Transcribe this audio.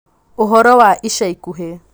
Ũhoro wa ica ikuhĩ